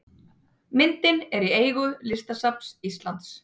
Myndin er í eigu Listasafns Íslands.